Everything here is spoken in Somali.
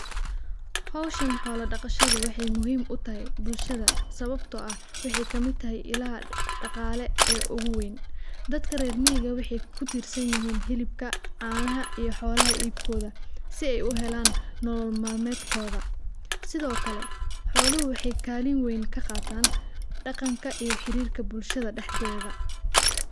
Howshan xoola daqashadu waxeey muhiim utahay bulshada sababta oo ah waxeey kamid tahay ilaha daqaale ee ugu weyn, dadka reer miiga waxeey kutirsan yihiin hilibka, canaha iyo xoolaha iibkooda si aay uhelaan nolol malmeedkooda, sido kale xooluhu waxeey kaalin weyn kaqaatan daqanka iyo xiriirka bulshada dexdeeda.